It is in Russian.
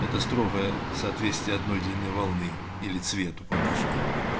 это строгое соответствие одной длины волны или цвету по-нашему